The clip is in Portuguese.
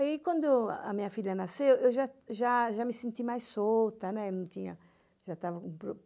Aí, quando a minha filha nasceu, eu já me senti mais solta, né?